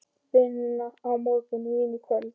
Vinna á morgun, vín í kvöld.